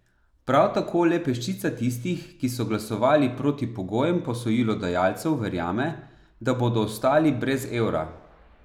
Prav tako le peščica tistih, ki so glasovali proti pogojem posojilodajalcev verjame, da bodo ostali brez evra.